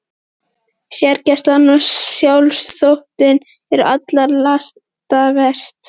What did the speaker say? Sérgæskan og sjálfsþóttinn eru allra lasta verst.